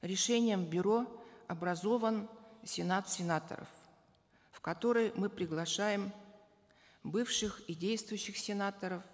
решением бюро образован сенат сенаторов в который мы приглашаем бывших и действующих сенаторов